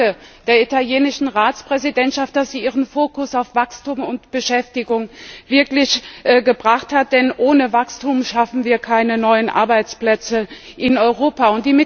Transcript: Ich danke der italienischen Ratspräsidentschaft, dass sie ihren Fokus wirklich auf Wachstum und Beschäftigung gelegt hat, denn ohne Wachstum schaffen wir keine neuen Arbeitsplätze in Europa.